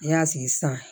N y'a sigi sisan